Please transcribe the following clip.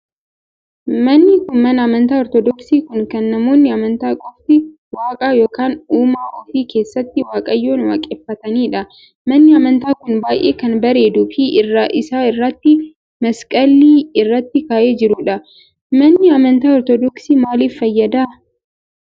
Manni kun mana amantaa ortoodoksii kun kan namoonni amantaa qofti waaqa ykn uumaa ofii keessatti waaqayyoon waaqeffataniidha. Manni amantaa kun baay'ee kan bareeduu fi irraa isaa irratti maskaliin irratti ka'ee jiruudha. manni amantaa ortoodoksiin maaliif fayyada?